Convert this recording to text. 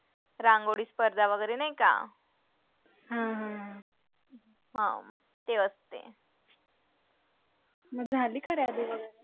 रांगोळी स्पर्धा वगैरे नाही का हा ते असते